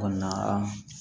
Kɔni na an